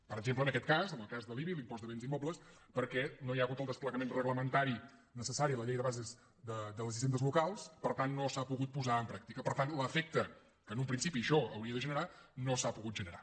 per exemple en aquest cas en el cas de l’ibi l’impost de béns immobles perquè no hi ha hagut el desplegament reglamentari necessari a la llei de bases de les hisendes locals per tant no s’ha pogut posar en pràctica per tant l’efecte que en un principi això hauria de generar no s’ha pogut generar